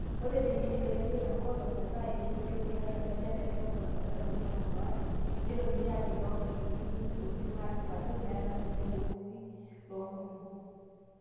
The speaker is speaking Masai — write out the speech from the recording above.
Ore teneidipi aaitoiyio te nkolong' metaa etoito tiatua esajata etomon metabaiki tomon waare, neitokini aagel toonkaik nejurri oleng aasip aajo meeta kulie duruki loo nkulupuok.